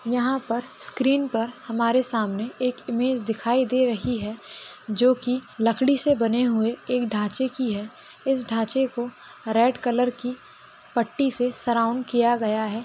यहाँ पर स्क्रीन पर हमारे सामने एक इमेज दिखाई दे रही है जोकि लकड़ी से बने हुए एक ढाँचे की है। इस ढाँचे को रेड कलर की पट्टी से सराउंड किया गया है।